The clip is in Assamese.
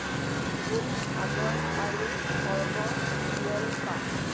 গুণ সাগৰ আৰু সৰ্ব নিয়ন্তা